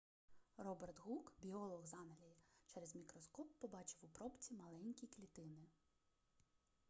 роберт гук біолог з англії через мікроскоп побачив у пробці маленькі клітини